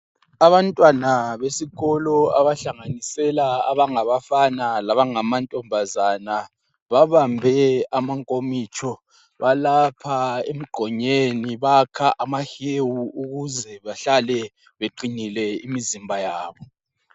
Abantwana besikolo bahlanganisela abangabafana labangamantombazana babambe amankomitsho balapha emgqonyeni bakha amahewu ukuze behlale beqinile imizimba yabo.